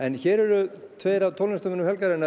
hér eru tveir af tónlistarmönnum helgarinnar